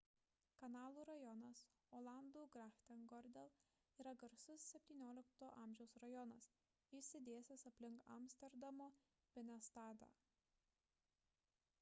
kanalų rajonas olandų: grachtengordel yra garsus xvii a. rajonas išsidėstęs aplink amsterdamo binnenstadą